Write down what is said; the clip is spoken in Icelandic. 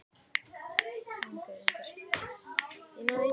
Það gæti verið byrjun á hitakasti